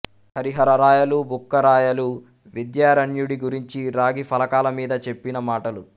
హరిహర రాయలు బుక్క రాయలు విద్యారణ్యుడి గురించి రాగి ఫలకాలమీద చెప్పిన మాటలు